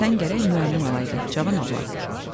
Sən gərək müəllim olaydın, cavan oğlan.